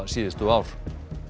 síðustu ár